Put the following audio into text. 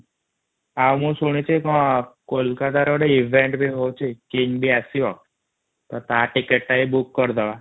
ଆଉ ମୁ ଶୁଣୁଥିଲି କୋଲକାତା ରେ ଗୋଟେ ହଉଛି କଇଁ ବି ଆସିବା ତ ତା ଟିକେଟ ଟା ବି ବୋଓକ୍କ କରିଦବା |